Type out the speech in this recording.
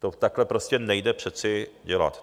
To takhle prostě nejde přeci dělat!